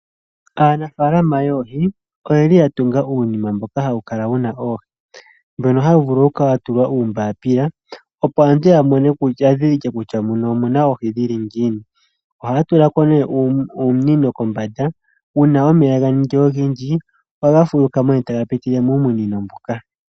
Aanafaalama yoohi oyeli yatunga uundama mboka hawu kala wuna oohi, mbono hawu vulu kukala watulwa uumbapila opo aantu yadhidhilike kutya muno omuna oohi dhili ngiini, ohaatula ko nee uunino kombanda uuna omeya ganingi ogendji ohaga fulukamo taga pitile muumunino mboka.